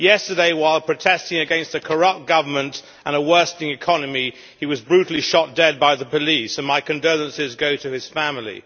Yesterday, while protesting against a corrupt government and a worsening economy, he was brutally shot dead by the police, and my condolences go to his family.